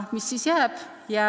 Mis siis jääb?